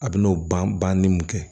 A bɛn'o ban banni mun kɛ